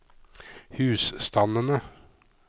husstandene